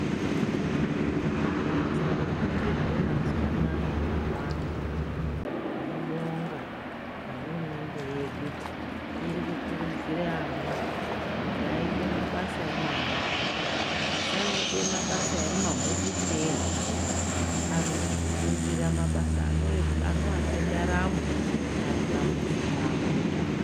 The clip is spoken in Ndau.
Mabasa ofundirwe mazuva anaya awanda, tinobonga nehurumende yedu iri kukuridzire ana kuti aite mabasa emaoko asanode mabasa emumahofisi ega anofundira mabasa anovape ndaramo ari pamuzi pavo.